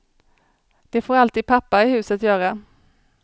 Det får alltid pappa i huset göra.